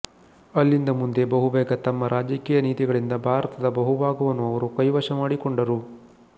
ಅಲ್ಲಿಂದ ಮುಂದೆ ಬಹುಬೇಗ ತಮ್ಮ ರಾಜಕೀಯ ನೀತಿಗಳಿಂದ ಭಾರತದ ಬಹುಭಾಗವನ್ನು ಅವರು ಕೈವಶ ಮಾಡಿಕೊಂಡರು